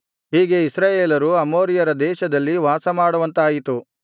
ಹೀಗೆ ಇಸ್ರಾಯೇಲರು ಅಮ್ಮೋರಿಯರ ದೇಶದಲ್ಲಿ ವಾಸಮಾಡುವಂತಾಯಿತು